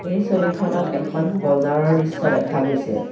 এই ছবিখনত এখন বজাৰৰ দৃশ্য দেখা গৈছে।